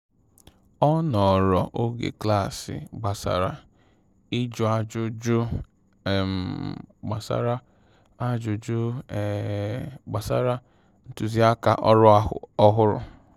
Ọ nọọrọ oge klaasị gbasara ịjụ ajụjụ um gbasara ajụjụ um gbasara ntụziaka ọrụ ọhụrụ